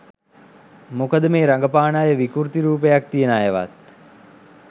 මොකද මේ රගපාන අය විකෘති රූපයක් තියන අයවත්